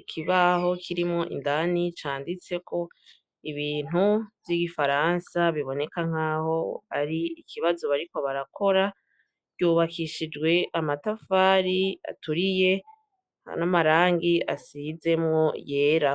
ikibaho kirimwo indani canditseko ibintu vy' ibifaransa biboneka nkaho ari ikibazo bariko barakora ryubakishijwe amatafari aturiye n' amarangi asizemwo yera.